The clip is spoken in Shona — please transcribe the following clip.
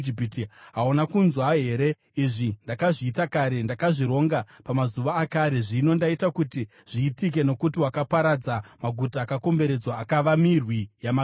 “Hauna kunzwa here? Izvi ndakazviita kare. Ndakazvironga pamazuva akare; zvino ndaita kuti zviitike, nokuti wakaparadza maguta akakomberedzwa akava mirwi yamatombo.